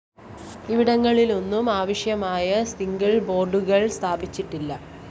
ഇവിടങ്ങളിെലാന്നും ആവശ്യമായ സിഗ്നൽ ബോര്‍ഡുകള്‍ സ്ഥാപിച്ചിട്ടില്ല